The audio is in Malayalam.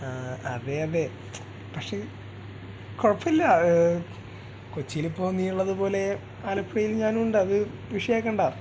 ആ അതെ അതെ പക്ഷേ കുഴപ്പില്ല കൊച്ചിയിൽ ഇപ്പോ നീ ഉള്ളതുപോലെ ആലപ്പുഴയിൽ ഞാനുണ്ട് അത് വിഷയം ആക്കണ്ട